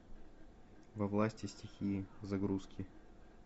во власти стихии загрузки